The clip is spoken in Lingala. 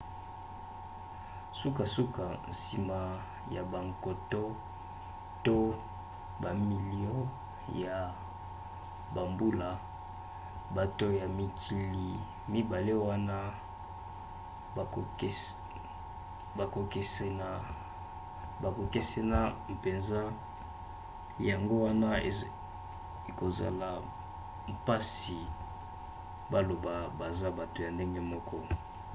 sukasuka nsima ya bankoto to bamilio ya bambula bato ya mikili mibale wana bakokesena mpenza yango wana ekozala mpasi baloba baza bato ya ndenge moko